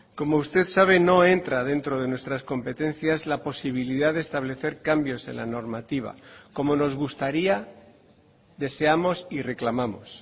como usted sabe no entra dentro de nuestras competencias la posibilidad de establecer cambios en la normativa como nos gustaría deseamos y reclamamos